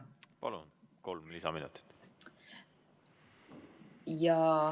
Palun, kolm lisaminutit.